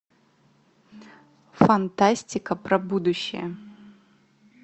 фантастика про будущее